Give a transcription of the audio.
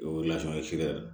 O